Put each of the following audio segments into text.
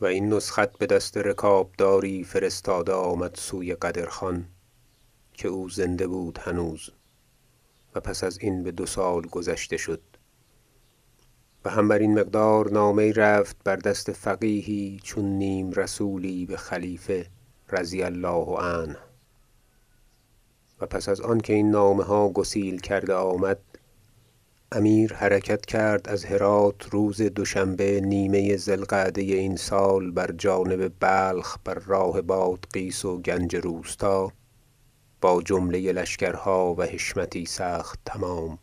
و این نسخت بدست رکابداری فرستاده آمد سوی قدر خان که او زنده بود هنوز و پس ازین بدو سال گذشته شد و هم برین مقدار نامه یی رفت بر دست فقیهی چون نیم رسولی بخلیفه رضی الله عنه و پس از آنکه این نامه ها گسیل کرده آمد امیر حرکت کرد از هرات روز دوشنبه نیمه ذی القعده این سال بر جانب بلخ بر راه بادغیس و گنج روستا با جمله لشکرها و حشمتی سخت تمام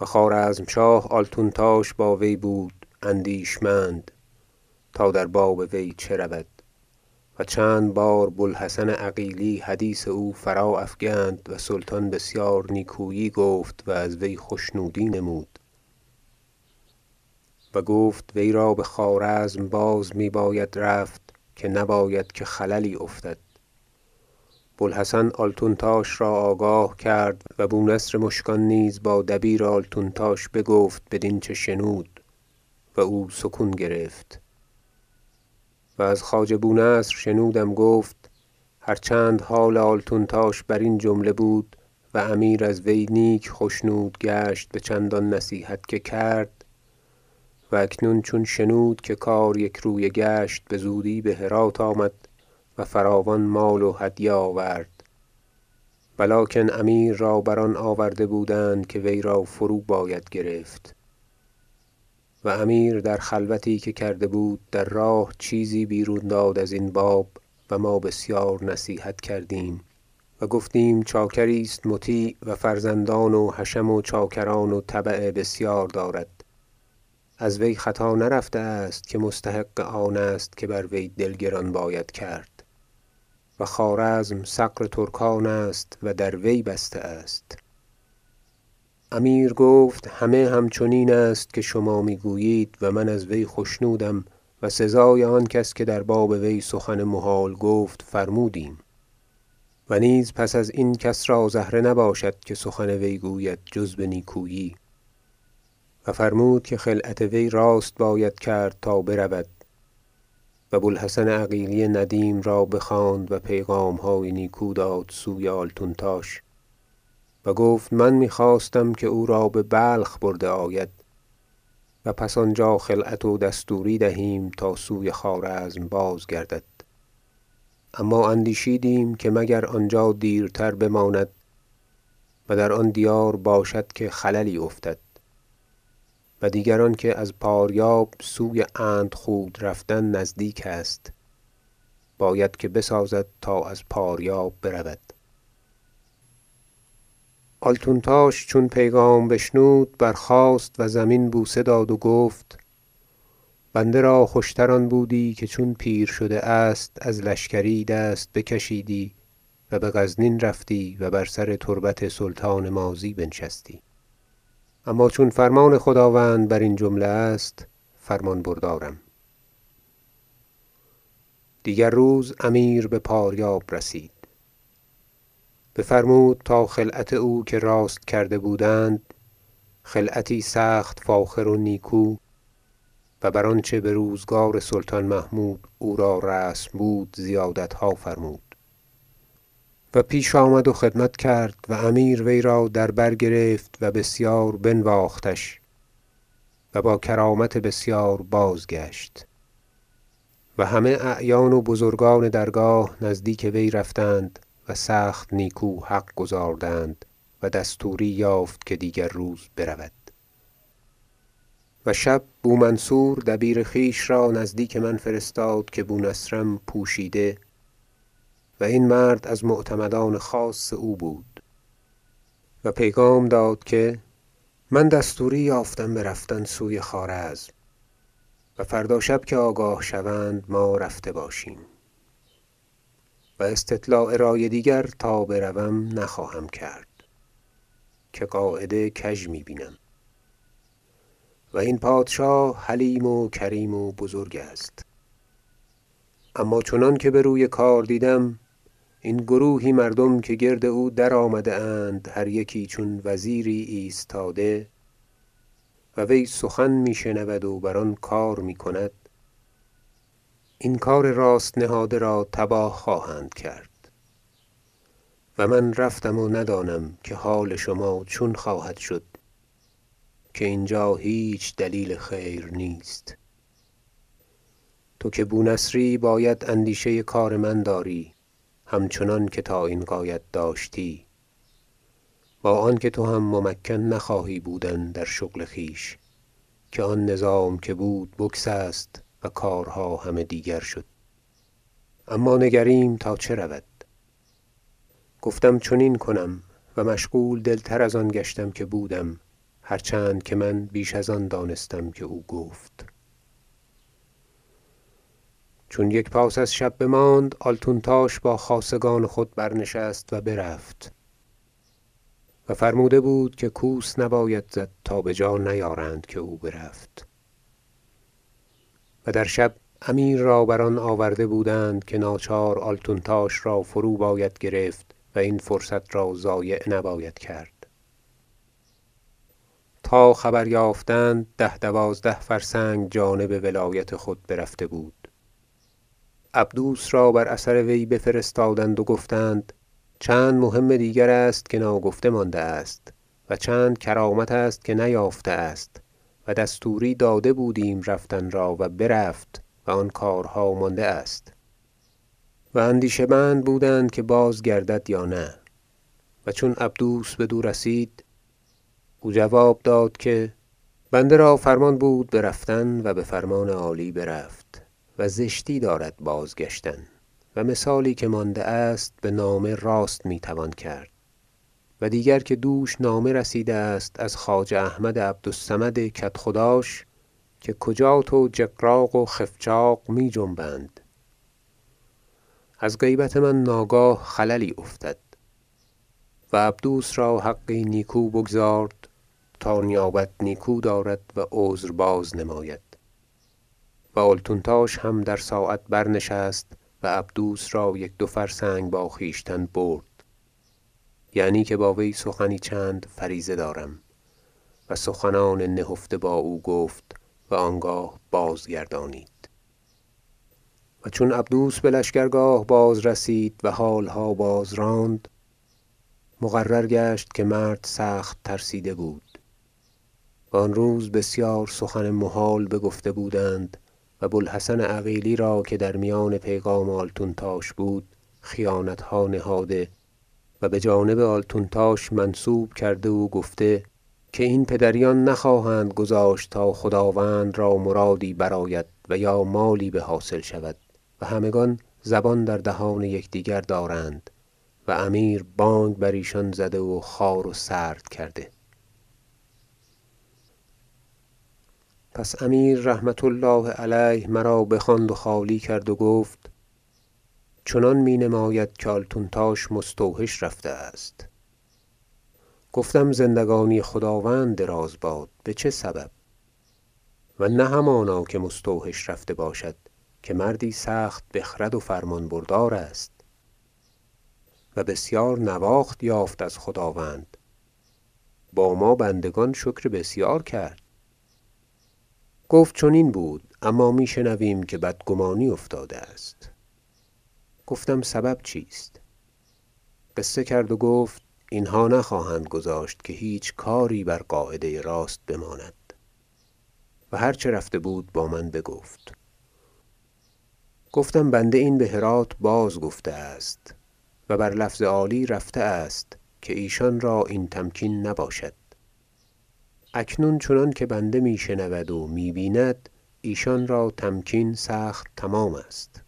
و خوارزمشاه آلتونتاش با وی بود اندیشمند تا در باب وی چه رود و چند بار بو الحسن عقیلی حدیث او فرا افکند و سلطان بسیار نیکویی گفت و از وی خشنودی نمود و گفت وی را بخوارزم باز می باید رفت که نباید که خللی افتد بوالحسن آلتونتاش را آگاه کرد و بو نصر مشکان نیز با دبیر آلتونتاش بگفت بدین چه شنود و او سکون گرفت و از خواجه بو نصر شنودم گفت هر چند حال آلتونتاش برین جمله بود و امیر از وی نیک خشنود گشت بچندان نصیحت که کرد و اکنون چون شنود که کار یکرویه گشت بزودی بهرات آمد و فراوان مال و هدیه آورد ولکن امیر را بر آن آورده بودند که وی را فرو باید گرفت و امیر در خلوتی که کرده بود در راه چیزی بیرون داد ازین باب و ما بسیار نصیحت کردیم و گفتیم چاکری است مطیع و فرزندان و حشم و چاکران و تبع بسیار دارد از وی خطا نرفته است که مستحق آن است که بر وی دل گران باید کرد و خوارزم ثغر ترکان است و در وی بسته است امیر گفت همه همچنین است که شما میگویید و من از وی خشنودم و سزای آن کس که در باب وی سخن محال گفت فرمودیم و نیز پس ازین کس را زهره نباشد که سخن وی گوید جز به نیکویی و فرمود که خلعت وی راست باید کرد تا برود و بوالحسن عقیلی ندیم را بخواند و پیغامهای نیکو داد سوی آلتونتاش و گفت من میخواستم که او را ببلخ برده آید و پس آنجا خلعت و دستوری دهیم تا سوی خوارزم بازگردد اما اندیشیدیم که مگر آنجا دیرتر بماند و در آن دیار باشد که خللی افتد و دیگر آنکه از پاریاب سوی اندخود رفتن نزدیک است باید که بسازد تا از پاریاب برود آلتونتاش چون پیغام بشنود برخاست و زمین بوسه داد و گفت بنده را خوشتر آن بودی که چون پیر شده است از لشکری دست بکشیدی و بغزنین رفتی و بر سر تربت سلطان ماضی بنشستی اما چون فرمان خداوند برین جمله است فرمان بردارم دیگر روز امیر بپاریاب رسید بفرمود تا خلعت او را که راست کرده بودند بپوشانیدند خلعتی سخت فاخر و نیکو و بر آنچه بروزگار سلطان محمود او را رسم بود زیادتها فرمود ه و پیش آمد و خدمت کرد و امیر وی را در بر گرفت و بسیار بنواختش و با کرامت بسیار بازگشت و همه اعیان و بزرگان درگاه نزدیک وی رفتند و سخت نیکو حق گزاردند و دستوری یافت که دیگر روز برود و شب بومنصور دبیر خویش را نزدیک من فرستاد که بونصرم پوشیده - و این مرد از معتمدان خاص او بود- و پیغام داد که من دستوری یافتم به رفتن سوی خوارزم و فردا شب که آگاه شوند ما رفته باشیم و استطلاع رأی دیگر تا بروم نخواهم کرد که قاعده کژ می بینم و این پادشاه حلیم و کریم و بزرگ است اما چنانکه به روی کار دیدم این گروهی مردم که گرد او درآمده اند هر یکی چون وزیری ایستاده و وی سخن می شنود و بر آن کار می کند این کار راست نهاده را تباه خواهند کرد و من رفتم و ندانم که حال شما چون خواهد شد که اینجا هیچ دلیل خیر نیست تو که بونصری باید اندیشه کار من داری همچنانکه تا این غایت داشتی با آن که تو هم ممکن نخواهی بودن در شغل خویش که آن نظام که بود بگسست و کارها همه دیگر شد اما نگریم تا چه رود گفتم چنین کنم و مشغول دل تر از آن گشتم که بودم هر چند که من بیش از آن دانستم که او گفت چون یک پاس از شب بماند آلتونتاش با خاصگان خود برنشست و برفت و فرموده بود که کوس نباید زد تا بجا نیارند که او برفت و در شب امیر را بر آن آورده بودند که ناچار آلتونتاش را فرو باید گرفت و این فرصت را ضایع نباید کرد تا خبر یافتند ده دوازده فرسنگ جانب ولایت خود برفته بود عبدوس را بر اثر وی بفرستادند و گفتند چند مهم دیگر است که ناگفته مانده است و چند کرامت است که نیافته است و دستوری داده بودیم رفتن را و برفت و آن کارها مانده است و اندیشه مند بودند که بازگردد یا نه و چون عبدوس بدو رسید او جواب داد که بنده را فرمان بود برفتن و بفرمان عالی برفت و زشتی دارد بازگشتن و مثالی که مانده است بنامه راست می توان کرد و دیگر که دوش نامه رسیده است از خواجه احمد عبد الصمد کدخداش که کجات و جقراق و خفچاق می جنبند از غیبت من ناگاه خللی افتد و عبدوس را حقی نیکو بگزارد تا نیابت نیکو دارد و عذر بازنماید و آلتونتاش هم در ساعت برنشست و عبدوس را یک دو فرسنگ با خویشتن برد یعنی که با وی سخنی چند فریضه دارم و سخنان نهفته با او گفت و آنگاه بازگردانید و چون عبدوس بلشکرگاه بازرسید و حالها بازراند مقرر گشت که مرد سخت ترسیده بود و آن روز بسیار سخن محال بگفته بودند و بوالحسن عقیلی را که در میان پیغام آلتونتاش بود خیانتها نهاده و بجانب آلتونتاش منسوب کرده و گفته که این پدریان نخواهند گذاشت تا خداوند را مرادی برآید و یا مالی بحاصل شود و همگان زبان در دهان یکدیگر دارند و امیر بانگ بر ایشان زده و خوار و سرد کرده پس امیر رحمة الله علیه مرا بخواند و خالی کرد و گفت چنان می نماید که آلتونتاش مستوحش رفته است گفتم زندگانی خداوند دراز باد به چه سبب و نه همانا که مستوحش رفته باشد که مردی سخت بخرد و فرمان بردار است و بسیار نواخت یافت از خداوند با ما بندگان شکر بسیار کرد گفت چنین بود اما می شنویم که بدگمانی افتاده است گفتم سبب چیست قصه کرد و گفت اینها نخواهند گذاشت که هیچ کاری بر قاعده راست بماند و هر چه رفته بود با من بگفت گفتم بنده این بهرات بازگفته است و بر لفظ عالی رفته است که ایشان را این تمکین نباشد اکنون چنانکه بنده می شنود و می بیند ایشان را تمکین سخت تمام است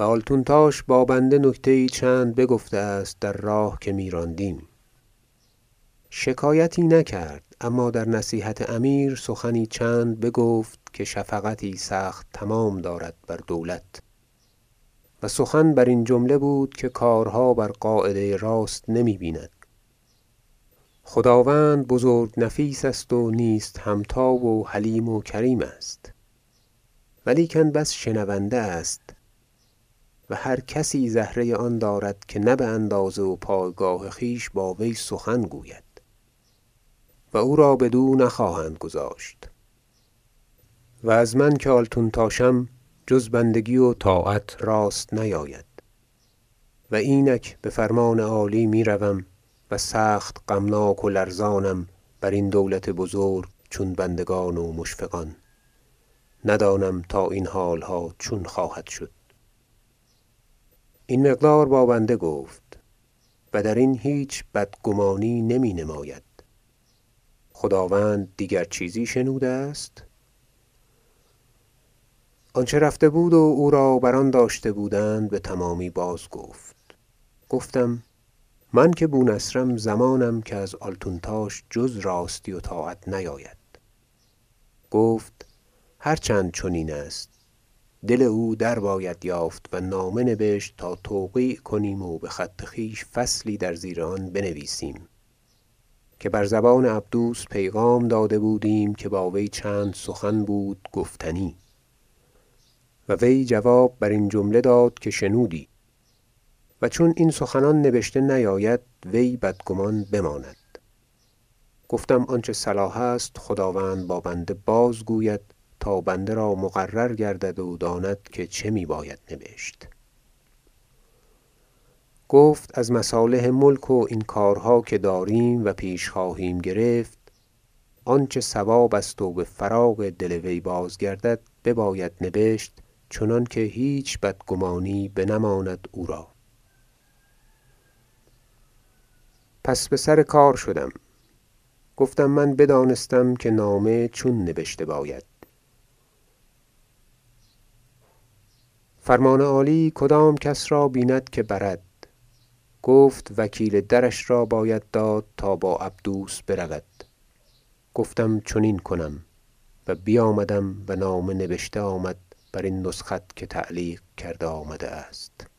و آلتونتاش با بنده نکته یی چند بگفته است در راه که میراندیم شکایتی نکرد اما در نصیحت امیر سخنی چند بگفت که شفقتی سخت تمام دارد بر دولت و سخن برین جمله بود که کارها بر قاعده راست نمی بیند خداوند بزرگ نفیس است و نیست همتا و حلیم و کریم است ولیکن بس شنونده است و هر کسی زهره آن دارد که نه باندازه و پایگاه خویش با وی سخن گوید و او را بدو نخواهند گذاشت و از من که آلتونتاشم جز بندگی و طاعت راست نیاید و اینک بفرمان عالی میروم و سخت غمناک و لرزانم برین دولت بزرگ چون بندگان و مشفقان ندانم تا این حالها چون خواهد شد این مقدار با بنده گفت و درین هیچ بدگمانی نمی نماید خداوند دیگر چیزی شنوده است آنچه رفته بود و او را بر آن داشته بودند بتمامی بازگفت گفتم من که بو نصرم ضمانم که از آلتونتاش جز راستی و طاعت نیاید گفت هر چند چنین است دل او درباید یافت و نامه نبشت تا توقیع کنیم و بخط خویش فصلی در زیر آن بنویسیم که بر زبان عبدوس پیغام داده بودیم که با وی چند سخن بود گفتنی و وی جواب برین جمله داد که شنودی و چون این سخنان نبشته نیاید وی بدگمان بماند گفتم آنچه صلاح است خداوند با بنده بازگوید تا بنده را مقرر گردد و داند که چه می باید نبشت گفت از مصالح ملک و این کارها که داریم و پیش خواهیم گرفت آنچه صواب است و بفراغ دل وی بازگردد بباید نبشت چنانکه هیچ بدگمانی بنماند او را پس به سر کار شدم گفتم من بدانستم که نامه چون نبشته باید فرمان عالی کدام کس را بیند که برد گفت وکیل درش را باید داد تا با عبدوس برود گفتم چنین کنم و بیامدم و نامه نبشته آمد برین نسخت که تعلیق کرده آمده است